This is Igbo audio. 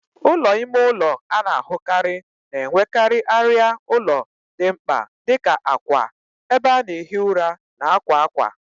Ụlọ ime ụlọ a na-ahụkarị na-enwekarị arịa ụlọ dị mkpa dị ka akwa, ebe a na-ehi ụra, na akwa akwa.